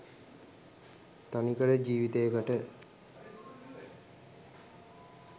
තනිකඩ ජීවිතේකට.